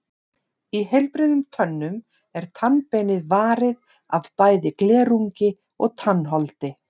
Í heilbrigðum tönnum er tannbeinið varið af bæði glerungi og tannholdi.